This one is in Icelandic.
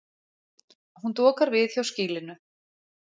Hún dokar við hjá skýlinu.